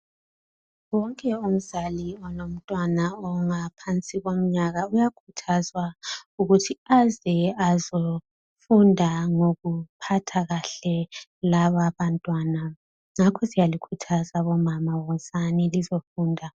Wonke umzali olomntwana ongaphansi komnyaka. Uyakhuthazwa ukuthi aze azefunda ngokuphatha kahle laba abantwana. Ngakho ke siyalikhuthaza bomama. Wozani lizefunda.